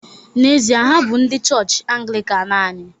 N’ezie, ha bụ ndị chọọchị Anglịkan anyị